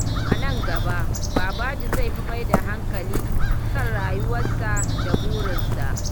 A nan gaba, Babaji zai fi mai da hankali kan rayuwarsa da burinsa.